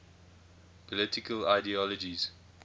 political ideologies